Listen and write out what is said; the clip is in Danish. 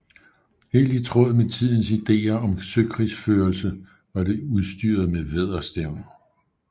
Helt i tråd med tidens ideer om søkrigsførelse var det udstyret med vædderstævn